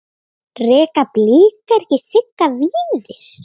Reka Blikar ekki Sigga Víðis?